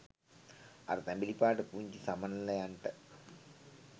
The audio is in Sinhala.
අර තැඹිලි පාට පුංචි සමනළයන්ට.